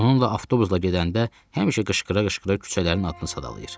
Onunla avtobusla gedəndə həmişə qışqıra-qışqıra küçələrin adını sadalayır.